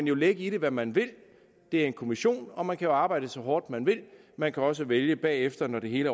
jo lægge i det hvad man vil det er en kommission og man kan jo arbejde så hårdt man vil man kan også vælge bagefter når det hele